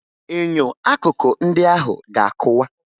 Enyo akụkọ ndị ahụ ga-akụwa